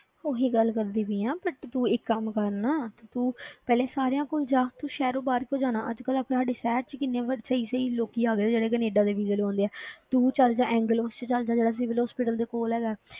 ਉਹੀ ਗੱਲ ਕਰਦੀ ਪਈ ਹਾਂ but ਤੂੰ ਇੱਕ ਕੰਮ ਕਰ ਨਾ ਤੇ ਤੂੰ ਪਹਿਲੇ ਤੂੰ ਸਾਰਿਆਂ ਕੋਲ ਜਾ ਤੂੰ ਸ਼ਹਿਰੋਂ ਬਾਹਰ ਕਿਉਂ ਜਾਣਾ ਅੱਜ ਕੱਲ੍ਹ ਤੁਹਾਡੇ ਸ਼ਹਿਰ ਵਿੱਚ ਕਿੰਨੇ ਵੀ ਸਹੀ ਸਹੀ ਲੋਕੀ ਆ ਗਏ ਜਿਹੜੇ ਕੈਨੇਡਾ ਦੇ visa ਲਗਵਾਉਂਦੇ ਹੈ ਤੂੰ ਚੱਲ ਜਾ ਐਂਗਲ ਪਾਸੇ ਚੱਲ ਜਾ ਜਿਹੜਾ civil hospital ਦੇ ਕੋਲ ਹੈਗਾ ਹੈ,